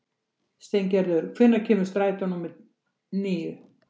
Steingerður, hvenær kemur strætó númer níu?